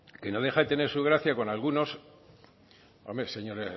que no deja de tener su gracia con algunos hombre señor